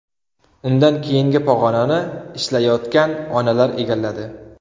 Undan keyingi pog‘onani ishlayotgan onalar egalladi.